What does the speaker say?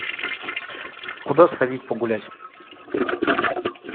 куда сходить погулять